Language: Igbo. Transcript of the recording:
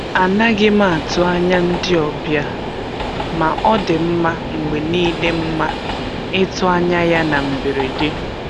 A naghị m atụ anya ndị ọbịa, ma ọ dị mma mgbe niile mma itụ anya ya na mberede.